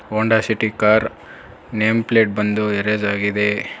ಹೋಂಡಾ City car name plate ಬಂದು erase ಆಗಿದೆ.